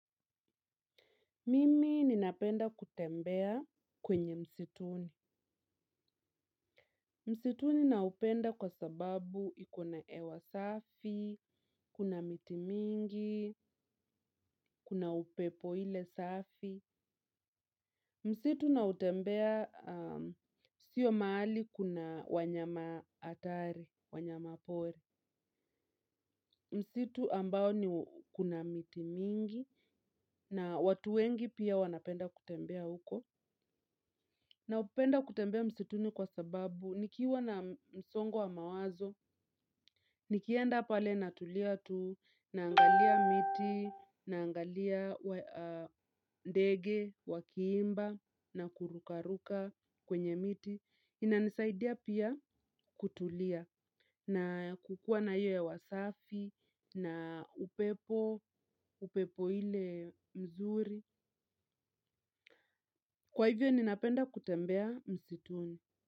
Mimi ninapenda kutembea kwenye msituni. Msituni naupenda kwa sababu ikona ewa safi, kuna miti mingi, kuna upepo ile safi. Msitu nautembea sio mahali kuna wanyama atari wanyama pori msitu ambao kuna miti mingi na watu wengi pia wanapenda kutembea uko. Na upenda kutembea msituni kwa sababu, nikiwa na msongo wa mawazo, nikienda pale natulia tu, naangalia miti, naangalia ndege, wakiimba, na kurukaruka kwenye miti. Inanisaidia pia kutulia, na kukua na hiyo ewa safi, na upepo, upepo ile mzuri. Kwa hivyo, ninapenda kutembea msituni.